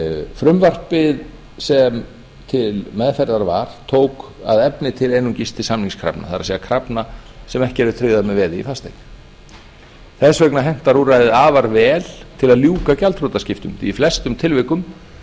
frumvarpið sem til meðferðar var tók að efni til einungis til samningskrafna það er krafna sem ekki eru tryggðar með veði í fasteign þess vegna hentar úrræðið afar vel til að ljúka gjaldþrotaskiptum því í flestum tilvikum